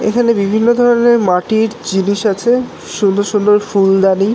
এখানে বিভিন্ন ধরনের মাটির জিনিস আছে সুন্দর সুন্দর ফুলদানি